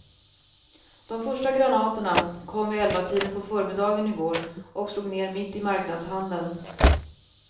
De första granaterna kom vid elvatiden på förmiddagen i går och slog ner mitt i marknadshandeln.